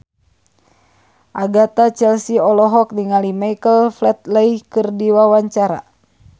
Agatha Chelsea olohok ningali Michael Flatley keur diwawancara